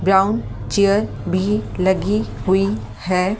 Brown chair भी लगी हुई है ।